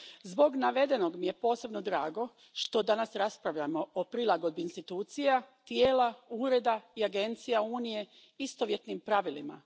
Zbog navedenog mi je posebno drago što danas raspravljamo o prilagodbi institucija, tijela, ureda i agencija Unije istovjetnim pravilima.